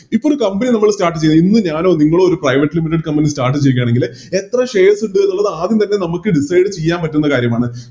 ഇപ്പോരു Company നമ്മള് Start ചെയ്ത് ഇന്ന് ഞാനോ നിങ്ങളോ ഒര് Private limited company start ചെയ്യുക ആണെങ്കില് എത്ര Shares ഉണ്ട് എന്നുള്ളത് ആദ്യം തന്നെ നമുക്ക് Decide ചെയ്യാൻ പറ്റുന്ന കാര്യമാണ്